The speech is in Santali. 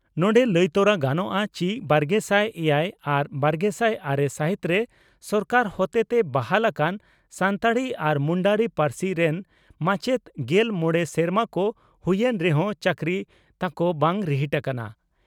ᱱᱚᱰᱮ ᱞᱟᱹᱭ ᱛᱚᱨᱟ ᱜᱟᱱᱚᱜᱼᱟ ᱪᱤ ᱵᱟᱨᱜᱮᱥᱟᱭ ᱮᱭᱟᱭ ᱟᱨ ᱵᱟᱨᱜᱮᱥᱟᱭ ᱟᱨᱮ ᱥᱟᱹᱦᱤᱛᱨᱮ ᱥᱚᱨᱠᱟᱨ ᱦᱚᱛᱮᱛᱮ ᱵᱟᱦᱟᱞ ᱟᱠᱟᱱ ᱥᱟᱱᱛᱟᱲᱤ ᱟᱨ ᱢᱩᱱᱰᱟᱨᱤ ᱯᱟᱹᱨᱥᱤ ᱨᱮᱱ ᱢᱟᱪᱮᱛ ᱜᱮᱞ ᱢᱚᱲᱮ ᱥᱮᱨᱢᱟ ᱠᱚ ᱦᱩᱭᱮᱱ ᱨᱮᱦᱚᱸ ᱪᱟᱠᱨᱤ ᱛᱟᱠᱚ ᱵᱟᱝ ᱨᱤᱦᱤᱴ ᱟᱠᱟᱱᱟ ᱾